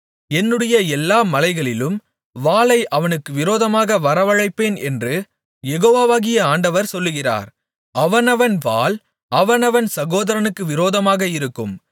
என்னுடைய எல்லா மலைகளிலும் வாளை அவனுக்கு விரோதமாக வரவழைப்பேன் என்று யெகோவாகிய ஆண்டவர் சொல்லுகிறார் அவனவன் வாள் அவனவன் சகோதரனுக்கு விரோதமாக இருக்கும்